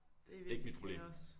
Det er virkelig kaos